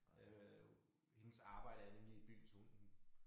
Øh hendes arbejde er nemlig i byen så hun hun